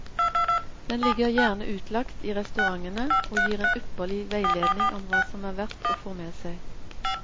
Den ligger gjerne utlagt i restaurantene og gir en ypperlig veiledning om hva som er verdt å få med seg.